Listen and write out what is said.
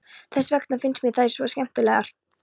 Þess vegna finnst mér þær svo skemmtilegar.